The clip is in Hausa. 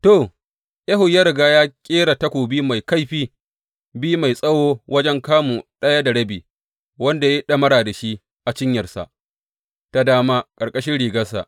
To, Ehud ya riga ya ƙera takobi mai kaifi biyu mai tsawo wajen kamu ɗaya da rabi, wanda ya yi ɗamara da shi a cinyarsa ta dama ƙarƙashin rigarsa.